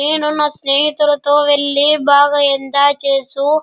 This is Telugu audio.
నేను నా స్నేహితులతో వెళ్లి బాగా ఎంజాయ్ చేస్తూ --